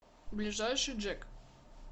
ближайший джек